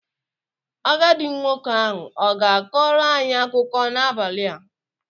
Agadi nwoke ahụ ọ ga kọrọ anyi akuko n'abali a?